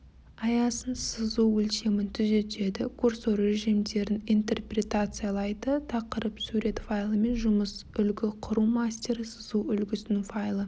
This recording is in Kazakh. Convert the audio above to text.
аясын сызу өлшемін түзетеді курсор режимдерін интерпретациялайды тақырып сурет файлымен жұмыс үлгі құру мастері сызу үлгісінің файлы